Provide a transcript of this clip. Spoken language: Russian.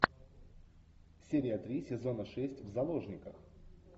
серия три сезона шесть в заложниках